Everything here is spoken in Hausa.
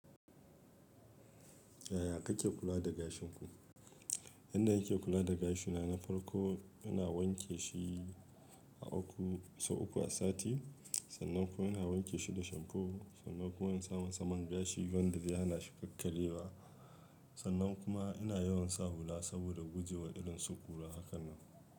Yaya kake kula da gashinku? Yanda nake kula da gashina na farko ina wanke shi sau uku a sati, sannan kuma ina wanke shi da shamfo, sannan kuma in samu saman gashi wanda zehanashi ƙakkar yewa. Sannan kuma ina yawan sa hula saboda kujewa irin su ƙura.